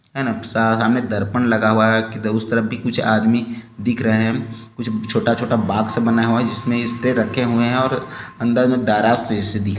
साहमे दर्पण लगा हुआ हैं उस तरफ भी कुछ आदमी दिख रहे हैं कुछ छोटा-छोटा बॉक्स से बनाया हुआ हैं जिसमें स्प्रै रखे हुए हैं और अंदर में दराज जैसे दिख --